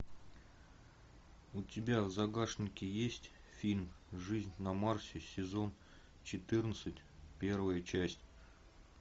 у тебя в загашнике есть фильм жизнь на марсе сезон четырнадцать первая часть